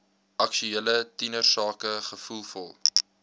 aktuele tienersake gevoelvol